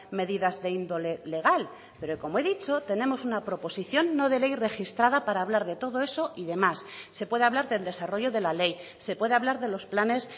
medidas de índole legal pero como he dicho tenemos una proposición no de ley registrada para hablar de todo eso y de más se puede hablar del desarrollo de la ley se puede hablar de los planes